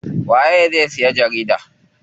Waye zai siya jarida?